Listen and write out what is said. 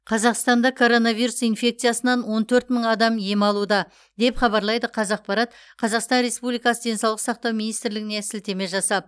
қазақстанда коронавирус инфекциясынан он төрт мың адам ем алуда деп хабарлайды қазақпарат қазақстан республикасы денсаулық сақтау министрлігіне сілтеме жасап